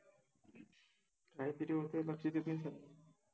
काहितरि होत, लक्षात येत नाइ आहे